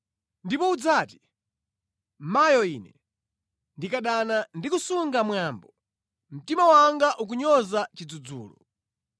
Ndipo udzati, “Mayo ine, ndinkadana ndi kusunga mwambo! Mtima wanga unkanyoza chidzudzulo!